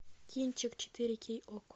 кинчик четыре кей окко